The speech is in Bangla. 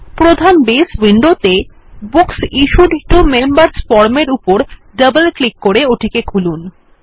প্রধান বেস উইন্ডো তে books issued to members form এর উপর ডবল ক্লিক করে ওটিকে খুলুন